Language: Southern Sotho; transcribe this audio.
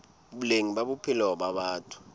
boleng ba bophelo ba batho